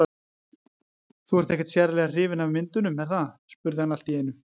Þú ert ekkert sérlega hrifin af myndunum, er það? spurði hann allt í einu.